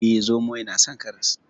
Eh, zomo yana son karas.